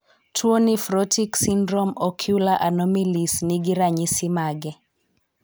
tuo Nephrotic syndrome ocular anomalies ni gi ranyisi mage ?